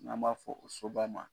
N'an b'a fɔ o soba ma.